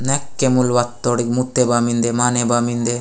नेक्के मूलवा तोड़ी मुत्ते बा मिन्दे माने बा मिन्दे।